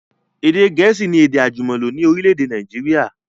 Èdè gẹ̀ẹ́sì ni èdè àjùmọ̀lò ni orílẹ̀èdè Nàìjíríà